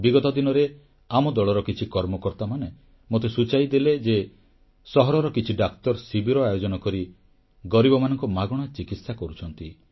ବିଗତ ଦିନରେ ଆମ ଦଳର କିଛି କର୍ମକର୍ତାମାନେ ମୋତେ ସୂଚାଇ ଦେଲେ ଯେ ସହରର କିଛି ଡାକ୍ତର ଶିବିର ଆୟୋଜନ କରି ଗରିବମାନଙ୍କ ମାଗଣା ଚିକିତ୍ସା କରୁଛନ୍ତି